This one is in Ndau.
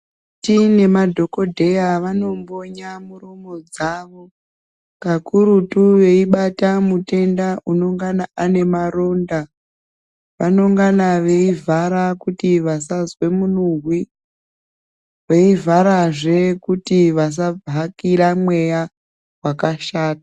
Vakoti nemadhokodheya vanombonye miromo dzawo kakurutu veibata mutenda anengana ane maronda vanongana veivhara kuti vasazwa munuhwi veivharazve kuti vasahakira mweya wakashata.